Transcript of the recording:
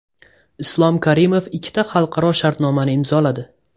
Islom Karimov ikkita xalqaro shartnomani imzoladi.